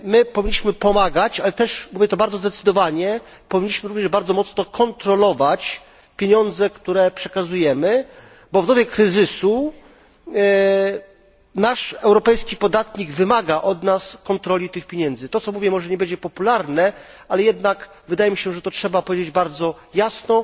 Powinniśmy pomagać, ale też mówię to bardzo zdecydowanie powinniśmy bardzo mocno kontrolować pieniądze, które przekazujemy, bo w dobie kryzysu europejski podatnik wymaga od nas kontroli tych pieniędzy. To, co mówię, może nie będzie popularne, ale jednak wydaje mi się, że to trzeba powiedzieć bardzo jasno.